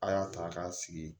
A y'a ta k'a sigi